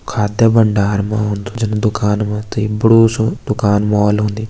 खाद्य भंडार मा औंदु जान दुकान मा त यू एक बड़ू सु दुकान मॉल होंदी।